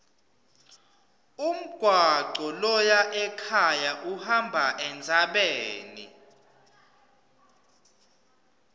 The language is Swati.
umgwaco loya ekhaya uhamba entsabeni